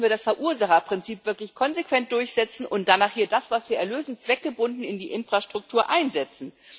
Da müssen wir das Verursacherprinzip wirklich konsequent durchsetzen, und danach das, was wir erlösen, zweckgebunden in die Infrastruktur einsetzen.